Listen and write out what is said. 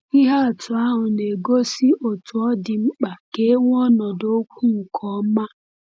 Ihe atụ ahụ na-egosi otú ọ dị mkpa ka e nwee ọnọdụ okwu nke ọma.